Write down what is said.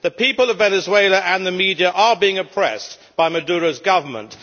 The people of Venezuela and the media are being oppressed by Maduro's government